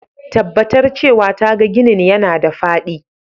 Tabbatar cewa taga ginin yana da faɗi.